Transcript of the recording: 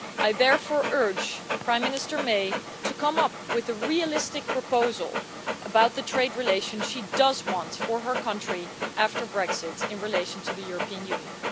I therefore urge Prime Minister May to come up with a realistic proposal about the trade relations she does want for her country after Brexit in relation to the European Union.